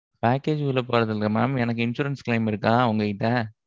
package உள்ள போறது இல்லை mam எனக்கு insurance claim இருக்கா உங்ககிட்ட?